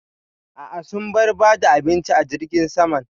A'a, sun bar ba da abinci a jirgin saman.